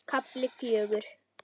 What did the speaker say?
KAFLI FJÖGUR